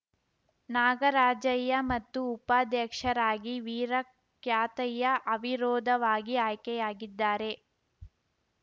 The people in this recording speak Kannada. ನಾಗರಾಜಯ್ಯ ಮತ್ತು ಉಪಾಧ್ಯಕ್ಷರಾಗಿ ವೀರಕ್ಯಾತಯ್ಯ ಅವಿರೋಧವಾಗಿ ಆಯ್ಕೆಯಾಗಿದ್ದಾರೆ